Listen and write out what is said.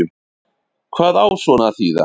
Hvað á svona að þýða